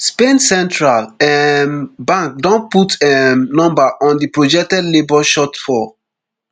spain central um bank don put um number on di projected labour shortfall